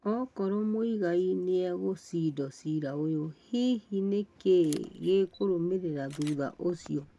Okoro Muigai nĩegũcindo cira ũyũ hihi nĩ kĩ gĩkũrũmĩrĩra thuta ucio.